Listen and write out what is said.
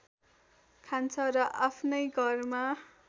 खान्छ र आफ्नै घरमा